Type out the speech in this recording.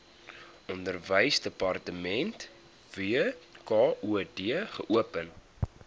onderwysdepartement wkod geopen